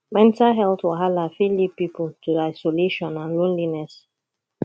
mental health wahala fit lead pipo to isolation and loneliness